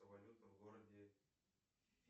валюта в городе